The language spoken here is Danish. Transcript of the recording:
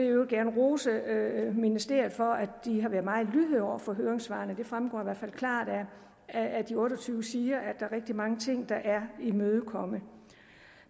øvrigt gerne rose ministeriet for at de har været meget lydhøre over for høringssvarene det fremgår i hvert fald klart af de otte og tyve sider at er rigtig mange ting der er imødekommet